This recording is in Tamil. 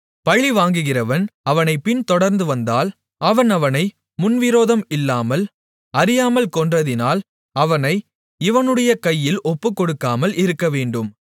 பழிவாங்குகிறவன் அவனைப் பின்தொடர்ந்துவந்தால் அவன் அவனை முன்விரோதம் இல்லாமல் அறியாமல் கொன்றதினால் அவனை இவனுடைய கையில் ஒப்புக்கொடுக்காமல் இருக்கவேண்டும்